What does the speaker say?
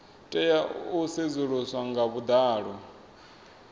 tea u sedzuluswa nga vhuḓalo